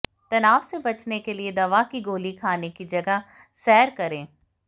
तनाव से बचने के लिए दवा की गोली खाने की जगह सैर करें